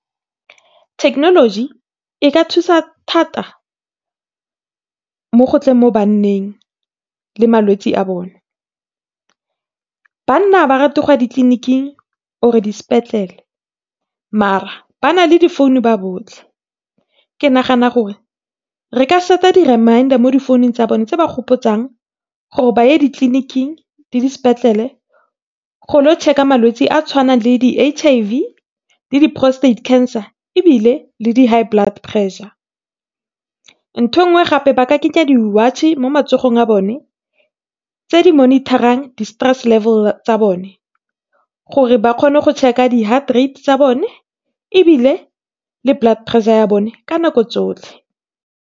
Thekenoloji e ka thusa thata, mo go tleng mo banneng le malwetse a bone. Banna ga ba rate go ya ditleniking or disepetlele mara ba na le difounu ba botlhe, ke nagana gore re ka set-a di-remider mo difounung tsa bona tse ba gopotsang gore ba ye ditleniking le dispetlele, go lo check-a malwetse a tshwanang le di-H_I_V, le di-prostate cancer ebile le di-high blood pressure. Ntho engwe gape ba ka kenya di-watch mo matsogong a bone, tse di monitarang di-stress level tsa bone, gore ba kgone go check-a di-heart rate tsa bone ebile le blood pressure ya bone ka nako tsotlhe.